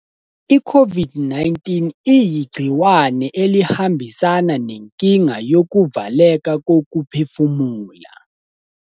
I-COVID-19 iyigciwane elihambisana nenkinga yokuvaleka kokuphefumula.